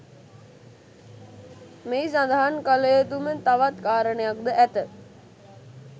මෙහි සදහන් කලයුතුම තවත් කාරණයක් ද ඇත